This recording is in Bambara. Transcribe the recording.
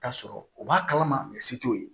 Ka sɔrɔ u b'a kalama se t'o ye